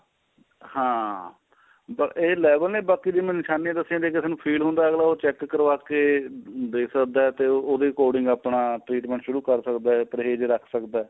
ਹਾਂ ਇਹ level ਨੇ ਬਾਕੀ ਦੀ ਮੈਂ ਨਿਸ਼ਾਨੀ ਦਸੀਆਂ ਕਿਸੇ ਨੂੰ feel ਹੁੰਦਾ ਅਗਲਾ check ਕਰਵਾ ਕੇ ਦੇਖ ਸਕਦਾ ਤੇ ਉਹਦੇ according ਆਪਣਾ treatment ਸ਼ੁਰੂ ਕਰ ਸਕਦਾ ਪਰਹੇਜ ਕਰ ਸਕਦਾ